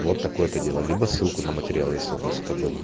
вот такое-то дело либо ссылку на материалы если у нас это было